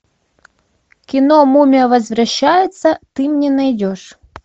кино мумия возвращается ты мне найдешь